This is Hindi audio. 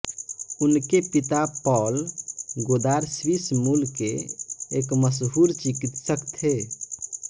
उनके पिता पॉल गोदार स्वीस मूल के एक मशहूर चिकित्सक थे